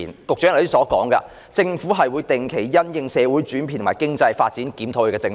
局長剛才說，政府會定期因應社會的轉變和經濟發展檢討政策。